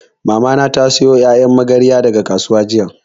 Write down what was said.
Mamana ta sayo ƴaƴan magarya daga kasuwa jiya